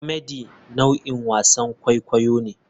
Comedy nau'in wasan kwaikwayo ne.